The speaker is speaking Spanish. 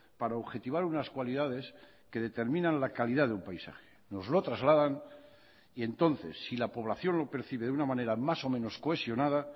para objetivar unas cualidades que determinan la calidad de un paisaje nos lo trasladan y entonces si la población lo percibe de una manera más o menos cohesionada